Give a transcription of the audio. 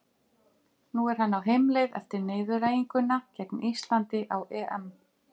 Lögmenn voru að vísu kosnir af lögréttu, en sú kosning þurfti að fá staðfestingu konungs.